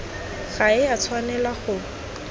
ga e a tshwanela go